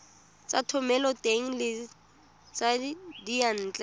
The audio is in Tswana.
tsa thomeloteng le tsa diyantle